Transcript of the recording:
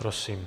Prosím.